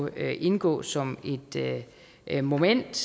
indgå som et moment